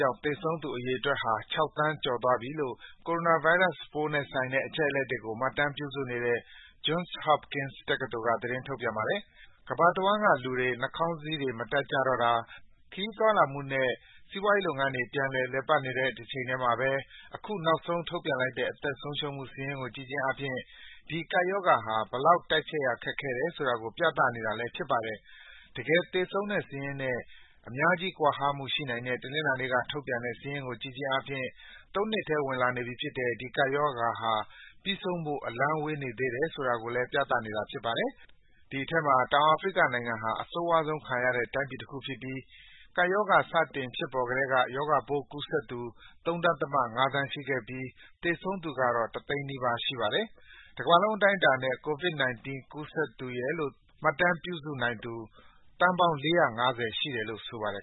ကြောင့် သေဆုံးသူအရေအတွက်ဟာ ၆ သန်းကျော်သွားပြီလို့ ကိုရိုနာဗိုင်းရပ်စ်ပိုးနဲ့ဆိုင်တဲ့ အချက်အလက်တွေကို မှတ်တမ်းပြုစုနေတဲ့ Johns Hopkins တက္ကသိုလ်က သတင်းထုတ်ပြန်ပါတယ်။ ကမ္ဘာတဝှမ်း လူတွေက နှာခေါင်းစည်းတွေ မတပ်ကြတော့တာ၊ ခရီးသွားလာမှုနဲ့ စီးပွားရေးလုပ်ငန်းတွေ ပြန်လည်ပတ်လာနေတာ ရှိနေတဲ့တချိန်တည်းမှာပဲ အခု နောက်ဆုံးထုတ်ပြန်လိုက်တဲ့ အသက်ဆုံးရှုံးမှု စာရင်းကို ကြည့်ခြင်းအားဖြင့် ဒီ ကပ်ရောဂါဟာ ဘယ်လောက် တိုက်ဖျက်ရ ခက်ခဲတယ်ဆိုတာကို ပြသနေတာလည်း ဖြစ်ပါတယ်။ တကယ်သေဆုံးတဲ့စာရင်းနဲ့ အများကြီး ကွာဟမှုရှိနိုင်တဲ့ တနင်္လာနေ့က ထုတ်ပြန်တဲ့ စာရင်းကိုကြည့်ခြင်းအားဖြင့် ၃ နှစ်ထဲဝင်လာနေပြီဖြစ်တဲ့ ဒီ ကပ်ရောဂါဟာ ပြီးဆုံးဖို့ အလှမ်းဝေးေနေသးတယ်ဆိုတာကို ပြသနေတာလည်း ဖြစ်ပါတယ်။ ဒီအထဲမှာ တောင်အာဖရိနိုင်ငံဟာ အဆိုးရွားခံရတဲ့ တိုင်းပြည်တခုဖြစ်ပြီး ကပ်ရော ဂါ စတင်ဖြစ်ပေါ်ကတည်းက ရောဂါပိုးကူးစက်သူ ၃.၅ သန်းရှိခဲ့ပြီး သေဆုံးသူကေတာ့ တသိန်းနီးပါး ရှိပါတယ်။ တကမ္ဘာလုံးအတိုင်းအတာနဲ့ ကိုဗစ်-19 ကူးစက်သူရယ်လို့ မှတ်တမ်းပြုစုနိုင်သူ သန်းပေါင်း ၄၅၀ ရှိတယ်လို့ ဆိုပါတယ်